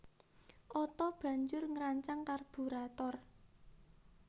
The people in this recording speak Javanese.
Otto banjur ngrancang karburator